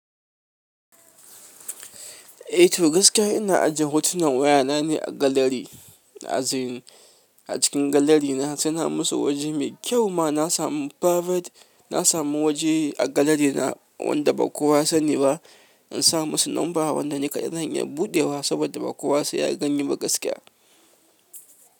Eh to gaskiya ina ajiye hotunan wayana ne a gallery. A cikin gallery na, suna musu waje mai kyau ma. Na samu private, na samu waje a gallery na wanda ba kowa ya sani ba. In sa musu number wanda ni kaɗai zan iya buɗewa saboda ba kowa saiya gani ba gaskiya.